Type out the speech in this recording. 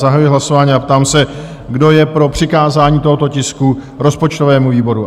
Zahajuji hlasování a ptám se, kdo je pro přikázání tohoto tisku rozpočtovému výboru?